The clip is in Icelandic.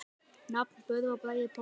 Nafn: Böðvar Bragi Pálsson